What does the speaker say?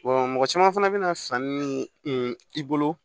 mɔgɔ caman fana bɛna sanni min i bolo